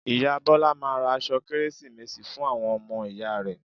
Ìyá Bọ́lá máa ra aṣọ kértésì fún àwọn ọmọ ìyá rẹ̀